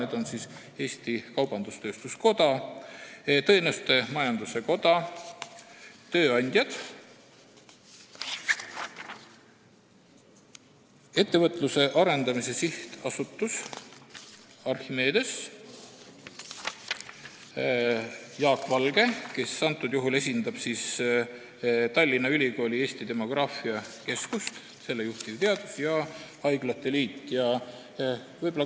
Arvamuse esitasid Eesti Kaubandus-Tööstuskoda, Teenusmajanduse Koda, tööandjad, Ettevõtluse Arendamise Sihtasutus, Archimedes, Jaak Valge, kes esindab Tallinna Ülikooli Eesti demograafia keskust , ja haiglate liit.